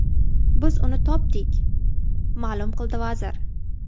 Biz uni topdik”, ma’lum qildi vazir.